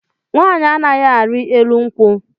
Nwaanyị anaghị ari elu nkwụ